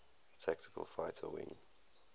tactical fighter wing